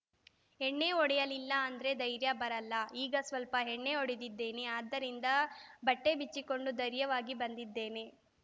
ಎಣ್ಣೆ ಹೊಡೆಯಲಿಲ್ಲಾ ಅಂದ್ರೆ ಧೈರ್ಯ ಬರಲ್ಲ ಈಗ ಸ್ವಲ್ಪ ಎಣ್ಣೆ ಹೊಡೆದಿದ್ದೇನೆ ಅದರಿಂದ ಬಟ್ಟೆಬಿಚ್ಚಿಕೊಂಡು ಧೈರ್ಯವಾಗಿ ಬಂದಿದ್ದೀನಿ